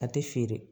A tɛ feere